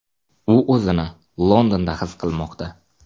U o‘zini Londonda his qilmoqda.